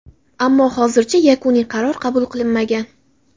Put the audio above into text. ammo hozircha yakuniy qaror qabul qilinmagan.